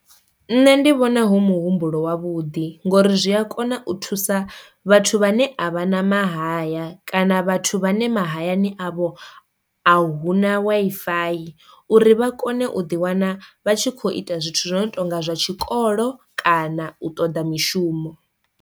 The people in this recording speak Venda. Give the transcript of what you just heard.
Nṋe ndi vhona hu muhumbulo wavhuḓi ngori zwi a kona u thusa vhathu vhane a vha na mahaya kana vhathu vhane mahayani avho a huna Wi-Fi uri vha kone u ḓi wana vha tshi kho ita zwithu zwi no tonga zwa tshikolo kana u ṱoḓa mishumo.